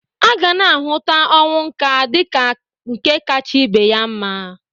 A gana ahụta ọnwụ nka dịka nke kacha ibe ya mma.